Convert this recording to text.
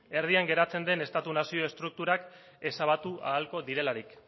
erdian geratzen den estatu nazio estrukturak ezabatu ahalko direlarik